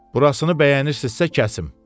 Burasını bəyənirsinizsə kəsim.